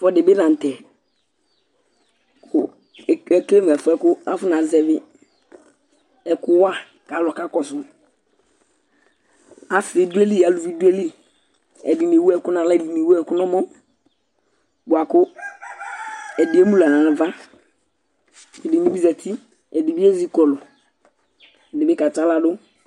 Ɛfʋɛdi bi la ntɛ Ekele mʋ ɛfʋɛ bʋakʋ ɛfʋɛ bʋakʋ afɔ nazɛvi ɛku wa kʋ alu kakɔsu Asi du ayìlí, alʋvi du ayìlí Ɛdiní ɛwu ɛku nʋ aɣla Ɛdiní ɛwu ɛku nʋ ɛmɔ bʋakʋ ɛdiní ɛmu nʋ aɣla nʋ ava Ɛdiní bi zɛti Ɛdiní ɛzikɔlu Ɛdiní bi ka tsi aɣla du